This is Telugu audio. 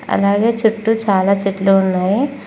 అలాగే చుట్టూ చాలా చెట్లు ఉన్నాయి.